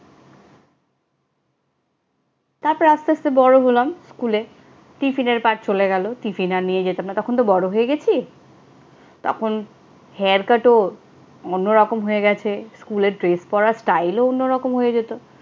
তারপর আস্তে আস্তে বড় হলাম। স্কুলে টিফিনের part চলে গেলো, টিফিন আর নিয়ে যেতাম না। তখন তো বড় হয়ে গেছি। তখন hair cut ও অন্যরকম হয়ে গেছে, স্কুলের dress পড়ার style ও অন্যরকম হয়ে যেত।